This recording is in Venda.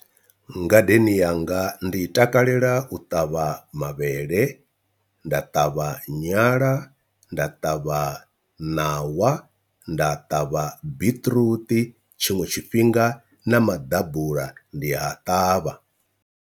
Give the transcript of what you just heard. Ngadeni yanga ndi takalela u ṱavha mavhele, nda ṱavha nyala, nda ṱavha ṋawa, nda ṱavha biṱiruṱi, tshiṅwe tshifhinga na maḓabula ndi a ṱavha.